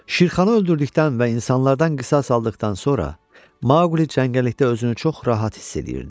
Şirxanı öldürdükdən və insanlardan qisas aldıqdan sonra, Maqli cəngəllikdə özünü çox rahat hiss eləyirdi.